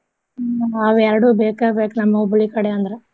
ಹ್ಮ್ ಅವೇರ್ಡು ಬೇಕ ಬೇಕ ನಮ್ಮ್ ಹುಬ್ಳಿ ಕಡೆ ಅಂದ್ರ.